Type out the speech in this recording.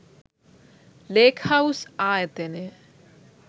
ලේක්හවුස් ආයතනය